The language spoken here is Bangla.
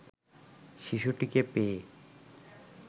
শিশুটিকে পেয়ে